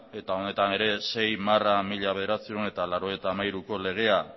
honetan ere sei barra mila bederatziehun eta laurogeita hamairuko legea